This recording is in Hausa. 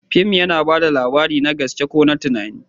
Fim yana ba da labari, na gaske ko na tunani.